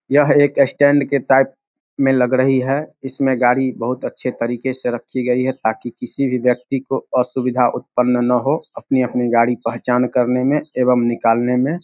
यह एक स्टैंड के टाइप में लग रही है इसमें गाड़ी बहुत अच्छे तरीके से रखी गई है ताकि किसी भी व्यक्ति को असुविधा उत्पन्न ना हो अपनी-अपनी गाड़ी पहचान करने में एवं निकालने में ।